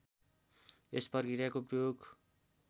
यस प्रक्रियाको प्रयोग